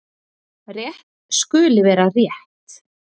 Rétt skuli vera rétt.